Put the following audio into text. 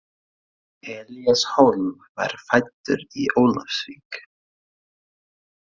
Elías Hólm var fæddur í Ólafsvík.